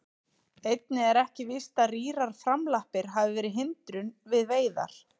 Einnig er ekki víst að rýrar framlappir hafi verið hindrun við veiðar.